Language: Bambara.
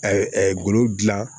golo dilan